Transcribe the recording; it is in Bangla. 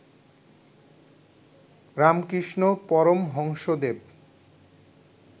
রামকৃষ্ণ পরমহংসদেব